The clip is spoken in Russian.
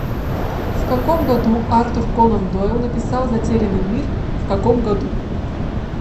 в каком году артур конан дойл написал затерянный мир в каком году